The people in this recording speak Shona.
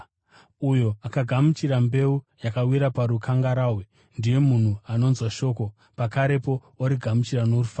Uyo akagamuchira mbeu yakawira parukangarahwe, ndiye munhu anonzwa shoko, pakarepo origamuchira norufaro.